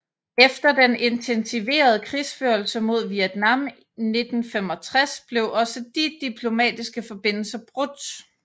Efter den intensiverede krigsførelse mod Vietnam 1965 blev også de diplomatiske forbindelser brudt